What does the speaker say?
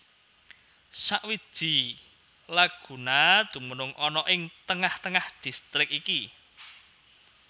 Sawiji laguna dumunung ana ing tengah tengah distrik iki